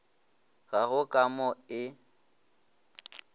ga go ka mo e